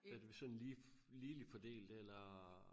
Er det sådan lige ligeligt fordelt eller?